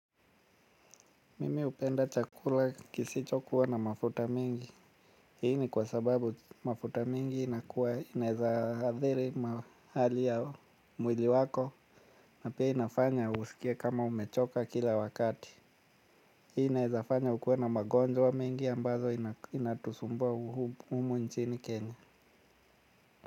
Mimi hupenda chakula kisicho kuwa na mafuta mingi hii ni kwa sababu mafuta mingi inakuwa inaeza hadhiri mahali ya mwili wako na pia inafanya usikie kama umechoka kila wakati. Hii inaeza fanya ukue na magonjwa mengi ambazo inatusumbua humu nchini kenya.